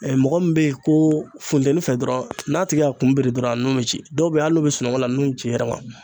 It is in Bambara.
mɔgɔ min bɛ ye ko funtɛni fɛ dɔrɔn n'a tigi k'a kun biri dɔrɔn nu bɛ ci , dɔw bɛ yen hali n'u bɛ sunɔgɔ la nun bɛ ci i yɛrɛ ma